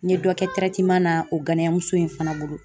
N ye dɔ kɛ na o ganiya muso in fana bolo.